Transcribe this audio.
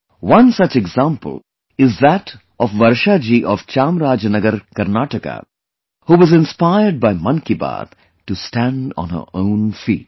One such example is that of Varshaji of Chamarajanagar, Karnataka, who was inspired by 'Mann Ki Baat' to stand on her own feet